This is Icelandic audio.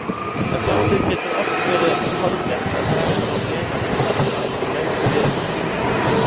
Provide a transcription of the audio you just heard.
Að sjálfsögðu getur oft verið torvelt að draga fram lifandi samfélag frá löngu liðnum tíma.